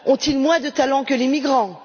Ont ils moins de talent que les migrants?